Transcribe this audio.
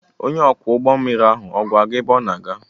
Onye ọkwọ ụgbọ mmiri ahụ ọ̀ gwara gị ebe ọ na-aga?